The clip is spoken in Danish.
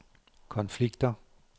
konflikter